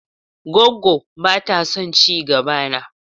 Goggo ba ta son ci gaba na.